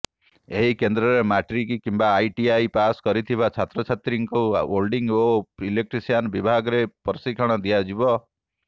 ଏହି କେନ୍ଦ୍ରରେ ମାଟ୍ରିକ କିମ୍ବା ଆଇଟିଆଇ ପାସ୍ କରିଥିବା ଛାତ୍ରଛାତ୍ରୀଙ୍କୁ ୱେଲଡିଂ ଓ ଇଲେକ୍ଟ୍ରିସିଆନ ବିଭାଗରେ ପ୍ରଶିକ୍ଷଣ ଦିଆଯିବ